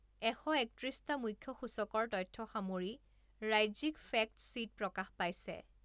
এশ একত্ৰিছটা মুখ্য সূচকৰ তথ্য সামৰি ৰাজ্যিক ফেক্টশ্বীট প্ৰকাশ পাইছে।